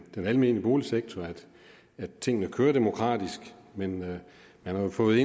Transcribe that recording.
den almene boligsektor altså at tingene kører demokratisk men man har fået